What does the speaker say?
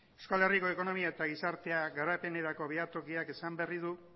euskal herriko ekonomia eta gizartea garapenerako behatokiak esan berri du